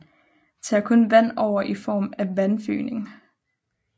Tager kun vand over i form af vandfygning